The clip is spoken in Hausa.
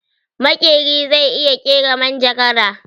Makeri zai iya kera majagara